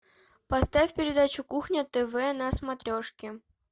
поставь передачу кухня тв на смотрешке